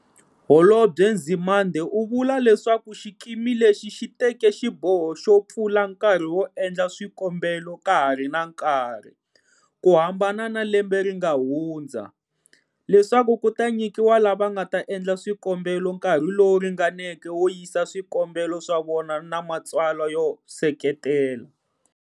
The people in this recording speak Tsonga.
Holobye Nzimande u vula leswaku xikimi lexi xi teke xiboho xo pfula nkarhi wo endla swikombelo ka ha ri na nkarhi, ku hambana na lembe ri nga hundza, leswaku ku ta nyikiwa lava nga ta endla swikombelo nkarhi lowu ringaneke wo yisa swikombelo swa vona na matsalwa yo seketela.